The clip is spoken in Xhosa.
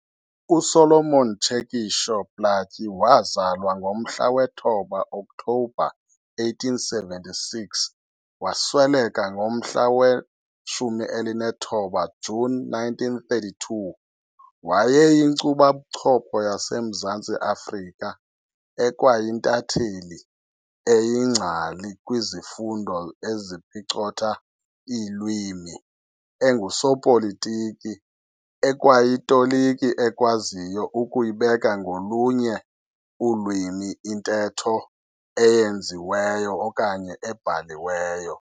USolomon Tshekisho Plaatje wazalwa ngomhla wesi-9 October 1876 wasweleka ngomhla we-19 June 1932, wayeyinkcubabuchopho yaseMzantsi Afrika, ekwayintatheli, eyingcali kwizifundo eziphicotha iilwimi, engusopolitiki, ekwayitoliki ekwaziyo ukuyibeka ngolunye ulwimi intetho eyenziweyo okanye ebhaliweyo.